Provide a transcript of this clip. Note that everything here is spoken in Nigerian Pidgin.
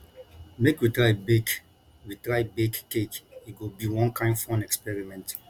make we try bake we try bake cake e go be one kain fun experiment